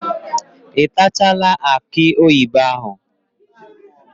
Ị tachaala akị oyibo ahụ?